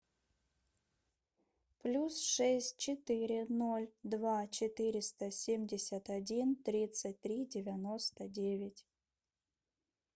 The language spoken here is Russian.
плюс шесть четыре ноль два четыреста семьдесят один тридцать три девяносто девять